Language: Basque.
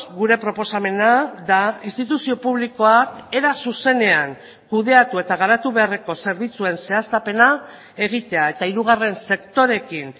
gure proposamena da instituzio publikoak era zuzenean kudeatu eta garatu beharreko zerbitzuen zehaztapena egitea eta hirugarren sektoreekin